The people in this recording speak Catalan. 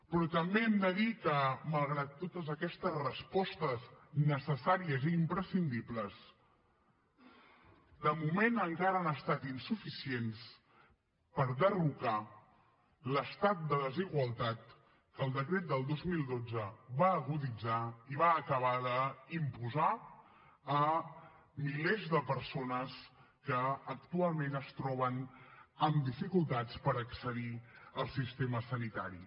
però també hem de dir que malgrat totes aquestes respostes necessàries i imprescindibles de moment encara han estat insuficients per derrocar l’estat de desigualtat que el decret del dos mil dotze va aguditzar i va acabar d’imposar a milers de persones que actualment es troben amb dificultats per accedir al sistema sanitari